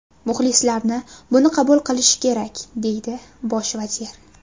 Muxlislarni buni qabul qilishi kerak”, deydi bosh vazir.